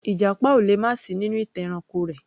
Ìjàpá ò lè má sì í nínú ìtàn ẹranko rẹ̀